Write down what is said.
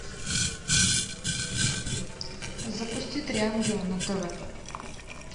запусти три ангела на тв